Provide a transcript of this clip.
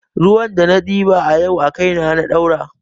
Ruwan da na ɗiba a yau a kaina na ɗaura